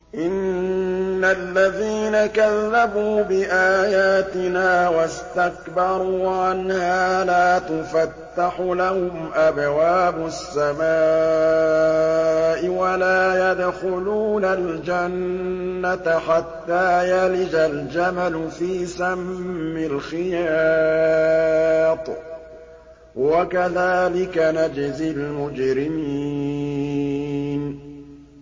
إِنَّ الَّذِينَ كَذَّبُوا بِآيَاتِنَا وَاسْتَكْبَرُوا عَنْهَا لَا تُفَتَّحُ لَهُمْ أَبْوَابُ السَّمَاءِ وَلَا يَدْخُلُونَ الْجَنَّةَ حَتَّىٰ يَلِجَ الْجَمَلُ فِي سَمِّ الْخِيَاطِ ۚ وَكَذَٰلِكَ نَجْزِي الْمُجْرِمِينَ